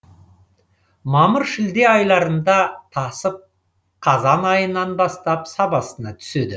мамыр шілде айларында тасып қазан айынан бастап сабасына түседі